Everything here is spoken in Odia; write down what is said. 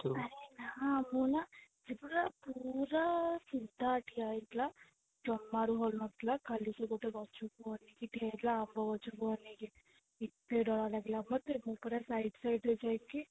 ଆରେ ନା ମୁଁ ନା ପୁରା ସେ ପୁରା ସିଧା ଠିଆ ହେଇ ଥିଲା ଜମରୁ ହାଳୁ ନଥିଲା ଖାଲି ସେ ଗଛ କୁ ଅନେକି ଠିଆ ହେଇଉ ଥିଲା ଆମ୍ବ ଗଛକୁ ଅନେଉକି ଏତେ ଡର ଲାଗିଲା ମୁଁ ପୁରା side side ରେ ଯାଇକି